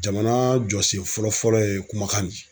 Jamana jɔsen fɔlɔ fɔlɔ ye kumakan de ye.